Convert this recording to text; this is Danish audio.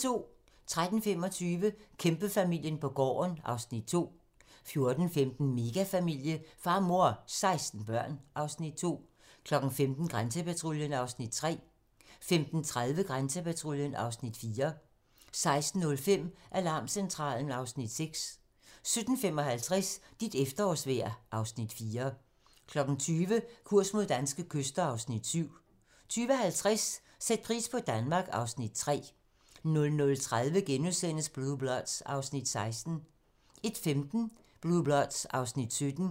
13:25: Kæmpefamilien på gården (Afs. 2) 14:15: Megafamilie - far, mor og 16 børn (Afs. 2) 15:00: Grænsepatruljen (Afs. 3) 15:30: Grænsepatruljen (Afs. 4) 16:05: Alarmcentralen (Afs. 6) 17:55: Dit efterårsvejr (Afs. 4) 20:00: Kurs mod danske kyster (Afs. 7) 20:50: Sæt pris på Danmark (Afs. 3) 00:30: Blue Bloods (Afs. 16)* 01:15: Blue Bloods (Afs. 17)